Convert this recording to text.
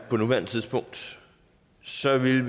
på nuværende tidspunkt så ville